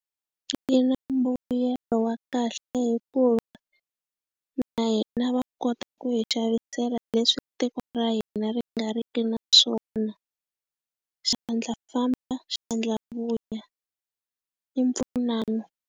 Yi na mbuyelo wa kahle hikuva na hina va kota ku hi xavisela leswi tiko ra hina ri nga ri ki na swona. Xandla famba xandla vuya. I mpfunano.